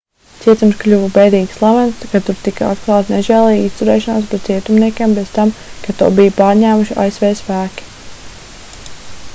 cietums kļuva bēdīgi slavens kad tur tika atklāta nežēlīga izturēšanās pret cietumniekiem pēc tam kad to bija pārņēmuši asv spēki